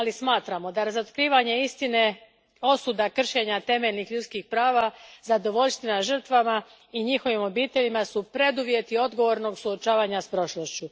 Ali smatramo da su razotkrivanje istine, osuda kršenja temeljnih ljudskih prava, zadovoljština žrtvama i njihovim obiteljima preduvjeti odgovornog suočavanja s prošlošću.